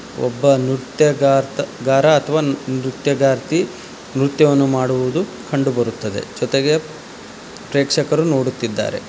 ಒಬ್ಬ ನೃತ್ಯಗಾರ ಅಥವಾ ನೃತ್ಯಗಾರತಿ ನೃತ್ಯವನ್ನು ಮಾಡುವುದು ಕಂಡುಬರುತ್ತದೆ ಜೊತೆಗೆ ಪ್ರೇಕ್ಷಕರು ನೋಡುತ್ತಿದ್ದಾರೆ.